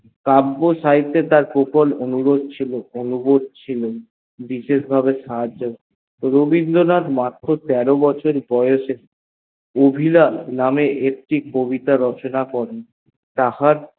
কাব্য সডিটতে তার প্রবল অনুভব ছিল বিষয়ের ভাবে সাজহহ হয়তো রবীন্দ্র নাথ মাত্র তেরো বছর বয়সে অভিলাষ নামে একটি কবিতা রচনা করেন তাহার